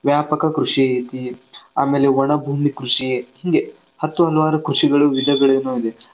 ವ್ಯಾಪಕ ಕೃಷಿ ಐತಿ ಆಮೇಲೆ ಒಣ ಭೂಮಿ ಕೃಷಿ ಐತಿ ಹೀಂಗೆ ಹತ್ತು ಹಲವಾರು ಕೃಷಿಯ ವಿಧಗಳು ಇದೆ,